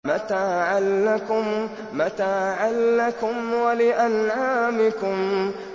مَّتَاعًا لَّكُمْ وَلِأَنْعَامِكُمْ